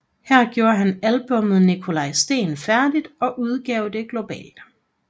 Her gjorde han albummet Nikolaj Steen færdigt og udgav det globalt